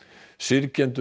syrgjendur